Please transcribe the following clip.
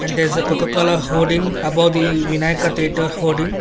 there is the coca cola hooding above the vinayaka theatre hooding.